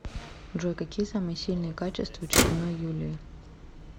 джой какие самые сильные качества чупиной юлии